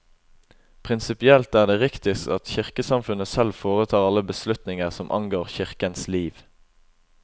Prinsipielt er det riktigst at kirkesamfunnet selv foretar alle beslutninger som angår kirkens liv.